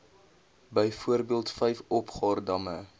byvoorbeeld vyf opgaardamme